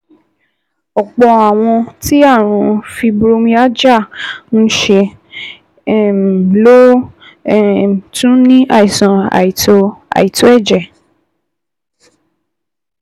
Ọ̀pọ̀ àwọn tí àrùn fibromyalgia ń ṣe um ló um tún ní um àìsàn àìtó ẹ̀jẹ̀